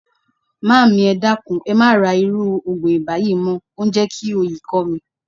Maami, e dakun, e ma ra iru ogun iba yii mo. O n je ki oyi ko mi.